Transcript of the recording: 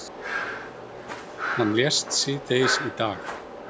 Hann lést síðdegis í dag.